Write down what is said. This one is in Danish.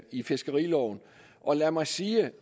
i fiskeriloven og lad mig sige